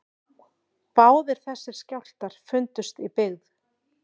Báðir þessir skjálftar fundust í byggð